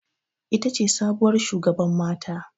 Ita ce sabuwar shugaban mata.